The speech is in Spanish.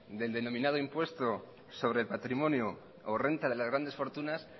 del denominado impuesto sobre el patrimonio o renta de las grandes fortunas